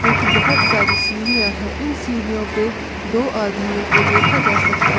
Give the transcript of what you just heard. जो की बहोत सारी सीढ़ियां हैं इन सीढ़ियों पे दो आदमियों को देखा जा सकता है।